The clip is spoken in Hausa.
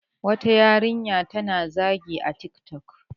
wata yarinya ta na zagi a tik tok